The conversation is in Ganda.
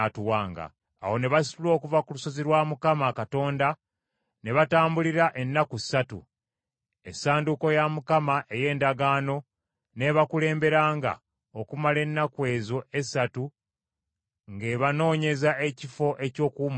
Awo ne basitula okuva ku lusozi lwa Mukama Katonda ne batambulira ennaku ssatu. Essanduuko ya Mukama ey’Endagaano n’ebakulemberanga okumala ennaku ezo essatu ng’ebanoonyeza ekifo eky’okuwummuliramu.